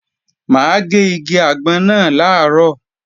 Mà á gé igi àgbọn náà làárọ̀